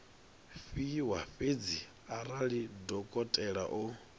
fhiwa fhedzi arali dokotela o